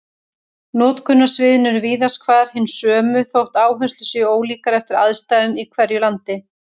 Notkunarsviðin eru víðast hvar hin sömu þótt áherslur séu ólíkar eftir aðstæðum í hverju landi.